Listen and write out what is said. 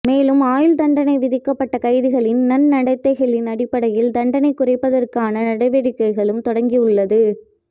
மேலும் ஆயுள் தண்டனை விதிக்கப்பட்ட கைதிகளின் நன்னடத்தைகளின் அடிப்படையில் தண்டனை குறைப்பதற்கான நடவடிக்கைகளும் தொடங்கி உள்ளது